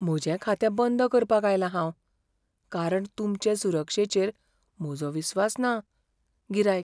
म्हजें खातें बंद करपाक आयलां हांव, कारण तुमचे सुरक्षेचेर म्हजो विस्वास ना. गिरायक